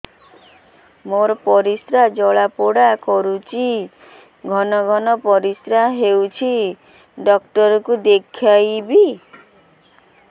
ମୋର ପରିଶ୍ରା ଜ୍ୱାଳା କରୁଛି ଘନ ଘନ ପରିଶ୍ରା ହେଉଛି ଡକ୍ଟର କୁ ଦେଖାଇବି